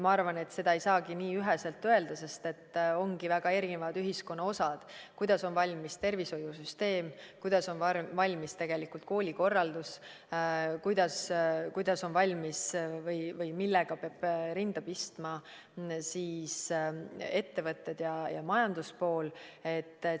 Ma arvan, et seda ei saagi nii üheselt öelda, sest ongi väga erinevad ühiskonna osad – kuidas on valmis tervishoiusüsteem, kuidas on valmis koolikorraldus, kuidas on valmis või millega peavad rinda pistma ettevõtted ja majanduspool.